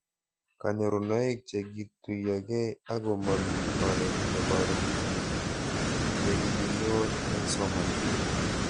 Kanyorunoik che kituyokei ako mami oret neparu nekikinyor eng' somanet